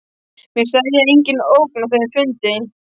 Mér steðjar enginn ógn af þeim fundi.